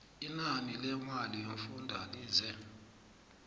inani lemali yomfundalize